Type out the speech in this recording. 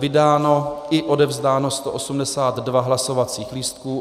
Vydáno i odevzdáno 182 hlasovacích lístků.